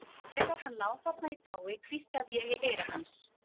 Þegar hann lá þarna í dái hvíslaði ég í eyra hans.